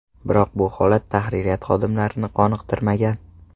Biroq bu holat tahririyat xodimlarini qoniqtirmagan.